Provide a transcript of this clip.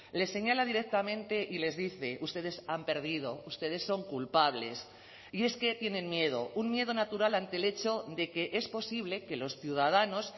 les señala directamente y les dice ustedes han perdido ustedes son culpables y es que tienen miedo un miedo natural ante el hecho de que es posible que los ciudadanos